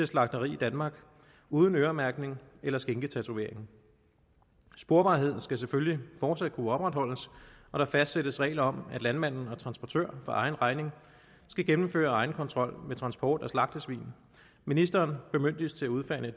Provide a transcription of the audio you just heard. slagteri i danmark uden øremærkning eller skinketatovering sporbarheden skal selvfølgelig fortsat kunne opretholdes og der fastsættes regler om at landmanden og transportøren for egen regning skal gennemføre egenkontrol med transport af slagtesvin ministeren bemyndiges til at udfærdige